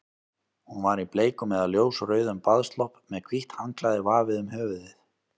Hún var í bleikum eða ljósrauðum baðslopp með hvítt handklæði vafið um höfuðið.